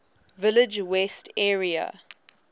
village west area